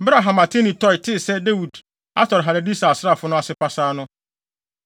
Bere a Hamathene Toi tee sɛ Dawid atɔre Hadadeser asraafo no ase pasaa no,